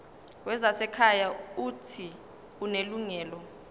wezasekhaya uuthi unelungelo